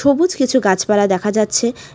সবুজ কিছু গাছপালা দেখা যাচ্ছে।